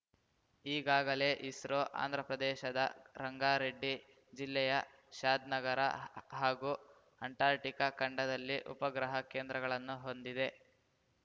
ಈಗಾಗಲೇ ಇಸ್ರೋ ಆಂಧ್ರಪ್ರದೇಶದ ರಂಗಾರೆಡ್ಡಿ ಜಿಲ್ಲೆಯ ಶಾದ್‌ನಗರ ಹಾಗೂ ಅಂಟಾರ್ಟಿಕಾ ಖಂಡದಲ್ಲಿ ಉಪಗ್ರಹ ಕೇಂದ್ರಗಳನ್ನು ಹೊಂದಿದೆ